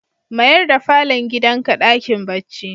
Mayar da falon gidanka dakin bacci.